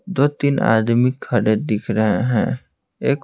दो-तीन आदमी खड़े दिख रहे हैंएक--